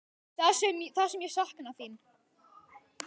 Það sem ég sakna þín.